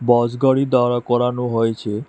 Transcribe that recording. বাস গাড়ি দাঁড়া করানো হয়েছে।